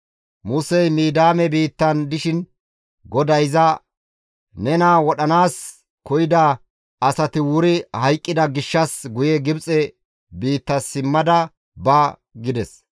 Musey Midiyaame biittan dishin GODAY iza, «Nena wodhanaas koyida asati wuri hayqqida gishshas guye Gibxe biitta simma ba» gides.